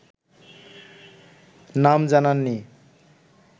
নাম জানাননি